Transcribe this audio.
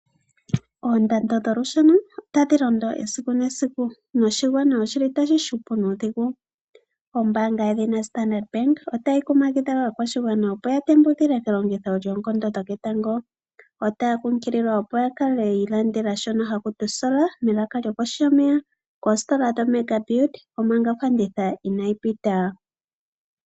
Oondando dholusheno otadhi londo esiku nesiku noshigwana oshi li tashi hupu nuudhigu. Ombaanga yedhina Standard Bank otayi kumagidha aakwashigwana opo ya tembukile kelongitho lyoonkondo dhoketango. Otaya kunkililwa opo ya kale yi ilandela shono haku tiwa osola melaka lyokohi yomeya koositola dhoMega build, omanga ofanditha inayi pita.